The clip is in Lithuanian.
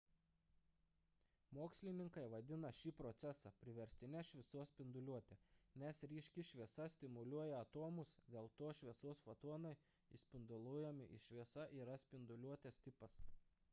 mokslininkai vadina šį procesą priverstine šviesos spinduliuote nes ryški šviesa stimuliuoja atomus dėl to šviesos fotonai išspinduliuojami ir šviesa yra spinduliuotės tipas